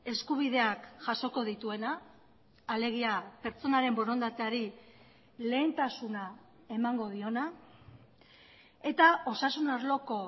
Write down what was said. eskubideak jasoko dituena alegia pertsonaren borondateari lehentasuna emango diona eta osasun arloko